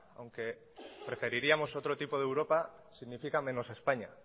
aunque preferiríamos otro tipo de europa significa menos españa